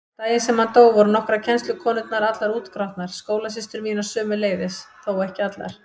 Daginn sem hann dó voru nokkrar kennslukonurnar allar útgrátnar, skólasystur mínar sömuleiðis, þó ekki allar.